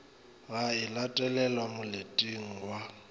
ga e latelelwe moleteng wa